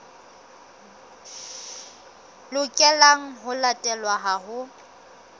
lokelang ho latelwa ha ho